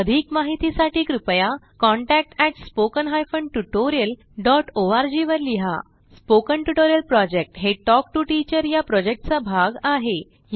अधिक माहितीसाठी कृपया contact at spoken hyphen tutorial dot O R G वर लिहा स्पोकन ट्युटोरियल प्रॉजेक्ट हे टॉक टू टीचर या प्रॉजेक्टचा भाग आहे